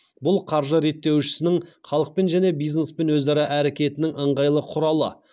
бұл қаржы реттеушісінің халықпен және бизнеспен өзара іс әрекетінің ыңғайлы құралы